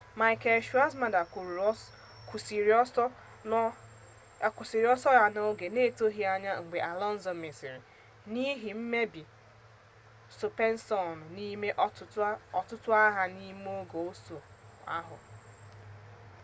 michael schumacher kwụsịrị ọsọ ya n'oge na-etoghị anya mgbe alonso mesịrị n'ihi mmebi sọspenshọn n'ime ọtụtụ agha n'ime oge ọsọ ahụ